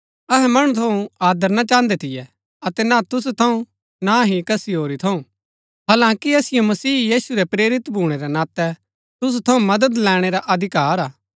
अहै मणु थऊँ आदर ना चाहन्दै थियै अतै ना तुसु थऊँ ना हि कसी होरी थऊँ हालांकि असिओ मसीह यीशु रै प्रेरित भूणै रै नातै तुसु थऊँ मदद लैणै रा अधिकार हा